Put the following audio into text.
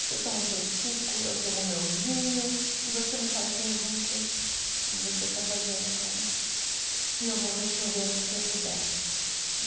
Você toma o seu suco, eu tomo o meu vinho, e você me faz perguntas, como você está fazendo agora, e eu vou respondendo o que eu puder.